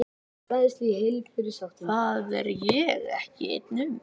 Það er ég ekki ein um.